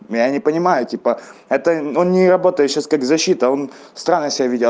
я не понимаю типа это ну не работаю сейчас как защита он странно себя ведёт